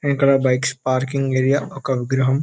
వెనకాల bikes parking area ఒక విగ్రహం --